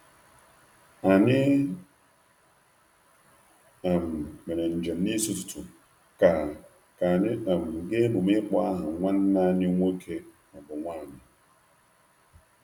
Anyị um mere njem n’isi ụtụtụ ka ka anyị um gaa emume ịkpọ aha nwanne anyị nwoke/nwunye.